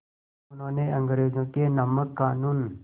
उन्होंने अंग्रेज़ों के नमक क़ानून